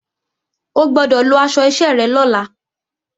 O gbọ́dọ̀ lọ aṣọ iṣẹ́ rẹ lọ́la!